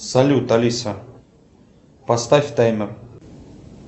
салют алиса поставь таймер